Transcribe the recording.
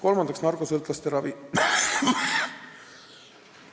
Kolmandaks, narkosõltlaste ravi.